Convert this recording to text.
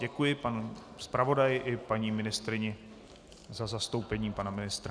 Děkuji panu zpravodaji i paní ministryni za zastoupení pana ministra.